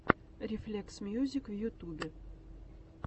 рефлексмьюзик в ютюбе